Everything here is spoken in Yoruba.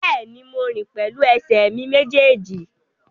Bẹ́ẹ̀ni, mo rìn pẹ̀lú ẹsẹ̀ mi méjèèjì